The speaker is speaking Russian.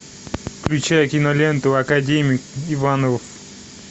включай киноленту академик иванов